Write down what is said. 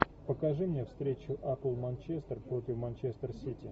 покажи мне встречу апл манчестер против манчестер сити